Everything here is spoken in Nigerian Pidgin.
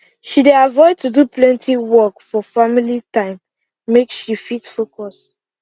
she dey avoid to do plenty work for family time make she fit focus